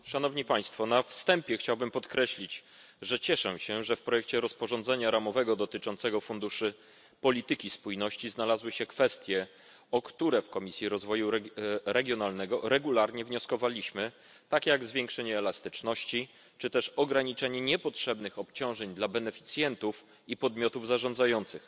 Szanowni Państwo! Na wstępie chciałbym podkreślić, że cieszę się, że w projekcie rozporządzenia ramowego dotyczącego funduszy polityki spójności znalazły się kwestie, o które w Komisji Rozwoju Regionalnego regularnie wnioskowaliśmy, takie jak zwiększenie elastyczności czy też ograniczenie niepotrzebnych obciążeń dla beneficjentów i podmiotów zarządzających.